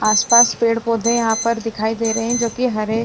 आस-पास पेड़-पौधे यहां पर दिखाई दे रहे हैं जो कि हरे --